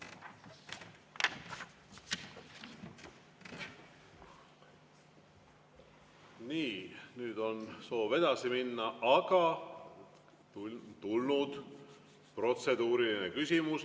Nii, nüüd on soov edasi minna, aga tulnud on protseduuriline küsimus.